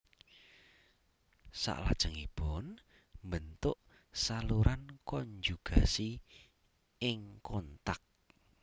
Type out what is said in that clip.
Salajengipun mbentuk saluran konjugasi ing kontak